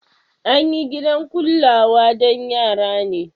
An yi gidan kullawa don yara ne.